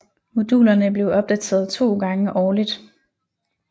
Modulerne blev opdateret to gange årligt